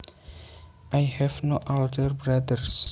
I have no older brothers